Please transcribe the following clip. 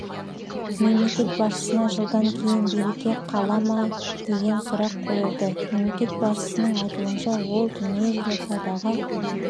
мемлекет басшысына жылдан кейін билікте қала ма деген сұрақ қойылды мемлекет басшысының айтуынша ол дүниежүзілік саудаға